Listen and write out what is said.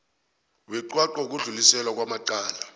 weqwaqwa wokudluliselwa kwamacala